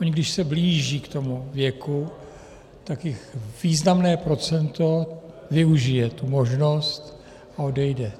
Oni, když se blíží k tomu věku, tak jich významné procento využije tu možnost a odejde.